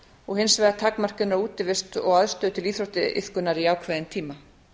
og hins vegar takmörkun á útivist og aðstöðu til íþróttaiðkunar í ákveðinn tíma